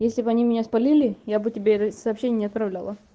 если б они меня спалили я бы тебе это сообщение не отправляла